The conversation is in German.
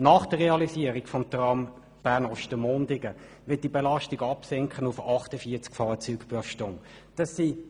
Nach der Realisierung des Trams Bern– Ostermundigen wird diese Belastung auf 48 Fahrzeuge pro Stunde sinken.